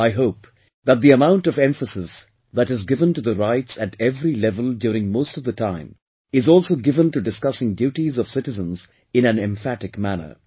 I hope that the amount of emphasis that is given to the rights at every level during most of the time, is also given to discussing duties of citizens in an emphatic manner